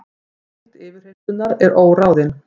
Lengd yfirheyrslunnar óráðin